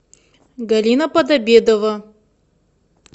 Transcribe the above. галина подобедова